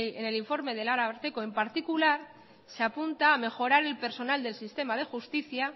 en el informe del ararteko en particular se apunta a mejorar el personal del sistema de justicia